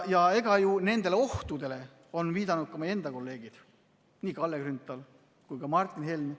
Ja nendele ohtudele on viidanud ju ka meie enda kolleegid, nii Kalle Grünthal kui ka Martin Helme.